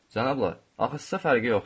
Cənablar, axı sizə fərqi yoxdur.